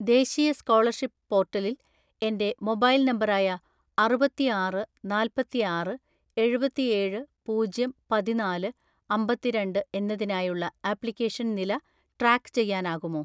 ദേശീയ സ്കോളർഷിപ്പ് പോർട്ടലിൽ എന്റെ മൊബൈൽ നമ്പറായ അറുപത്തിആറ് നാല്‍പത്തിആറ് എഴുപത്തിഏഴ് പൂജ്യം പതിനാല് അമ്പത്തിരണ്ട് എന്നതിനായുള്ള ആപ്ലിക്കേഷൻ നില ട്രാക്ക് ചെയ്യാനാകുമോ?